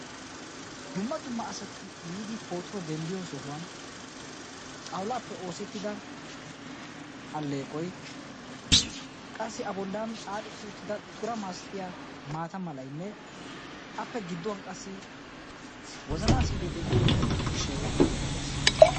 Dumma dumma asati yiidi pootuwa denddiyo sohuwan xawulaappe oosettida alleeqoy qassi abollan xaaxetti uttida tura masatiya maata malayinne appe gidduwan qassi wozanaa si'ilee diyo zo'o ciishshay beettees.